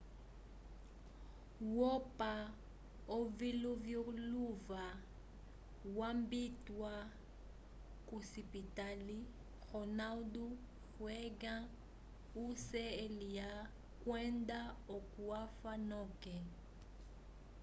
wopa oviluvyaluvya wambatiwa k'osipitali ronald reagan ucla kwenda oko afa noke